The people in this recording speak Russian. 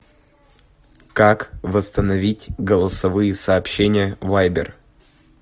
как восстановить голосовые сообщения вайбер